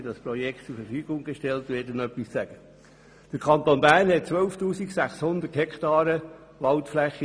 Der Kanton Bern besitzt 12 600 Hektaren Waldfläche.